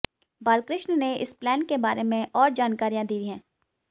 बालकृष्ण ने इस प्लान के बारे में और जानकारियां दी हैं